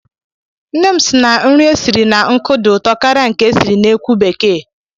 Nne m si na nri esiri na nkụ dị ụtọ karịa nke e siri n'ekwu bekee.